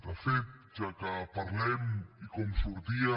de fet ja que parlem i com sortia